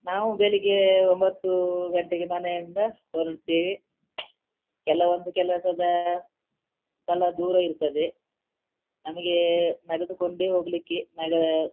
ನಾವು ಬೆಳಿಗ್ಗೆ ಒಂಭತ್ತು ಗಂಟೆಗೆ ಮನೆಯಿಂದ ಹೊರಡ್ತೀವಿ ಕೆಲವೊಂದು ಕೆಲಸದ ಸಲ ದೂರ ಇರ್ತದೆ ನಮಗೆ ನಡೆದುಕೊಂಡೆ ಹೋಗ್ಲಿಕ್ಕೆ .